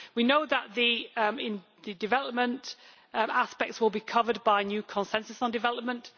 We know that the development aspects will be covered by a new consensus on development.